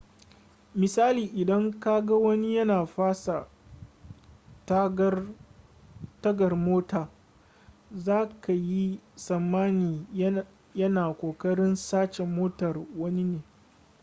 misali idan kaga wani yana fasa tagar mota za ka yi tsammani ya na kokarin sace motar wani ne